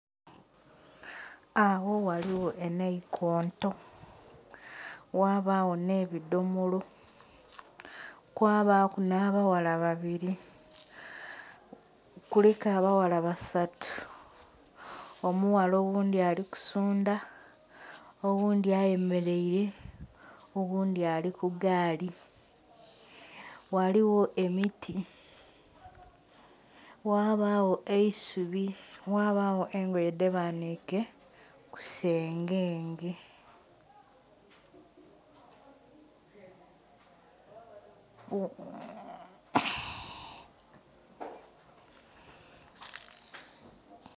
Agho ghaligho enaikonto, ghabagho nh'ebidomolo, kwabaaku nh'abaghala babili. Kuliku abaghala basatu. Omughala oghundhi ali kusundha, oghundhi ayemeleile, oghundhi ali ku gaali. Ghaligho emiti ghabagho eisubi, ghabagho engoye dhebaniike ku sengenge.